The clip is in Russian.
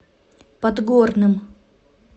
подгорным